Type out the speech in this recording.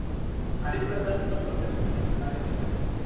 Hari present னு ஒருதன் வந்து இருந்தான் டா எங்க college ல